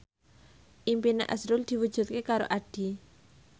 impine azrul diwujudke karo Addie